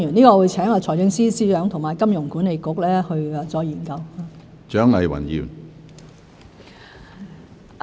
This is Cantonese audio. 我會請財政司司長和香港金融管理局再研究。